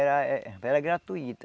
Era era gratuito.